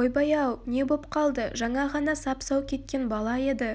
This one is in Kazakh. ойбай-ау не боп қалды жаңа ғана сап-сау кеткен бала еді